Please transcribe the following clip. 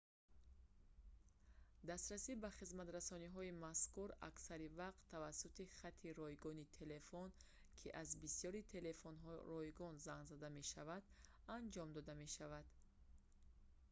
дастрасӣ ба хизматрасониҳои мазкур аксари вақт тавассути хати ройгони телефон ки аз бисёри телефонҳо ройгон занг зада мешаванд анҷом дода мешавад